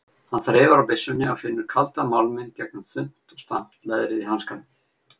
Hann þreifar á byssunni og finnur kaldan málminn gegnum þunnt og stamt leðrið í hanskanum.